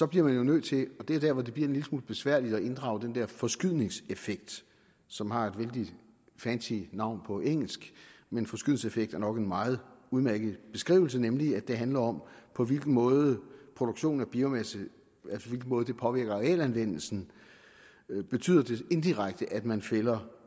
bliver man jo nødt til og det er dér hvor det bliver en lille smule besværligt at inddrage den der forskydningseffekt som har et vældig fancy navn på engelsk men forskydningseffekt er nok en meget udmærket beskrivelse nemlig at det handler om på hvilken måde produktionen af biomasse påvirker realanvendelsen betyder det indirekte at man fælder